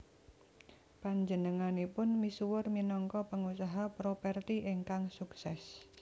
Panjenenganipun misuwur minangka pengusaha properti ingkang sukses